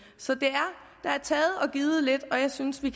så der er taget og givet lidt og jeg synes vi